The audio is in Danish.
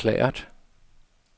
erklæret